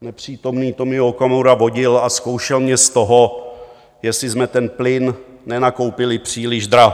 nepřítomný Tomio Okamura vodil a zkoušel mě z toho, jestli jsme ten plyn nenakoupili příliš draho.